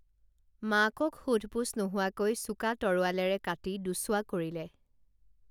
মাকক সোধপোছ নোহোৱাকৈ চোকা তৰোৱালেৰে কাটি দুছোৱা কৰিলে